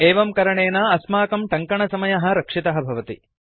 एवं करणेन अस्माकं टङ्कनसमयः रक्षितः भवति